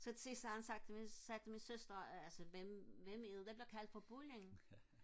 så til sidst så havde han sagt sagde han til min søster altså hvem hvem er det der bliver kaldt for bulling